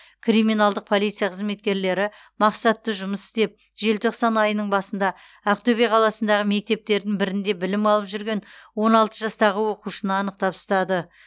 криминалдық полиция қызметкерлері мақсатты жұмыс істеп желтоқсан айының басында ақтөбе қаласындағы мектептердің бірінде білім алып жүрген он алты жастағы оқушыны анықтап ұстады